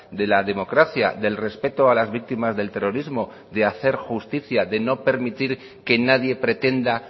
de la democracia del respeto a las víctimas del terrorismo de hacer justicia de no permitir que nadie pretenda